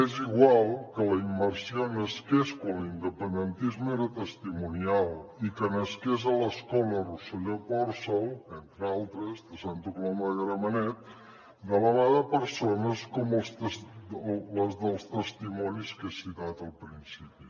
és igual que la immersió nasqués quan l’independentisme era testimonial i que nasqués a l’escola rosselló pòrcel entre altres de santa coloma de gramenet de la mà de persones com les dels testimonis que he citat al principi